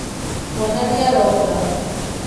Mwana nĩaronga.